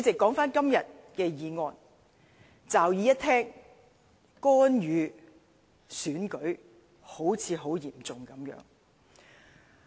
說回今天的議案，驟耳一聽，干預選舉好像很嚴重。